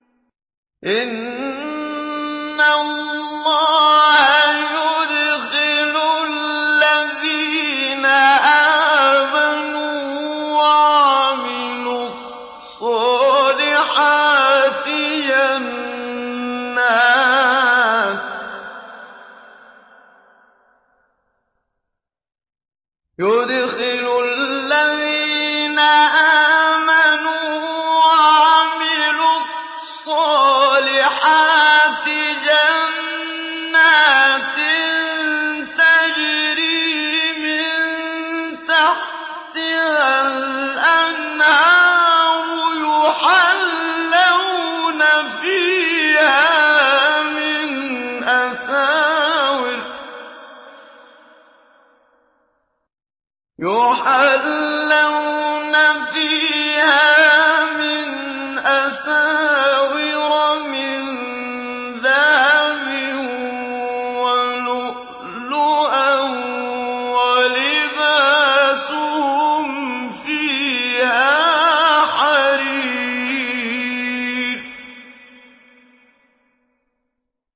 إِنَّ اللَّهَ يُدْخِلُ الَّذِينَ آمَنُوا وَعَمِلُوا الصَّالِحَاتِ جَنَّاتٍ تَجْرِي مِن تَحْتِهَا الْأَنْهَارُ يُحَلَّوْنَ فِيهَا مِنْ أَسَاوِرَ مِن ذَهَبٍ وَلُؤْلُؤًا ۖ وَلِبَاسُهُمْ فِيهَا حَرِيرٌ